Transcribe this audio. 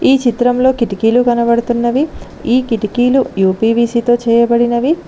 ఈ చిత్రంలో కిటికీలు కనబడుతున్నవి ఈ కిటికీలు యూ_పీ_వీ_సీ తో చేయబడినవి.